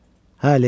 Hə, Lenni.